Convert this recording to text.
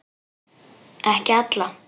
Ekki alla.